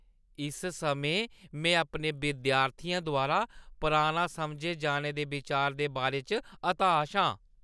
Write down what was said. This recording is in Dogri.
इस समें, में अपने विद्यार्थियें द्वारा पराना समझे जाने दे बिचार दे बारे च हताश आं।